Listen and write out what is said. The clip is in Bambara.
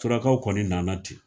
Surakaw kɔni nana ten.